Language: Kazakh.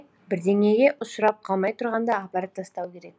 бірдеңеге ұшырап қалмай тұрғанда апарып тастау керек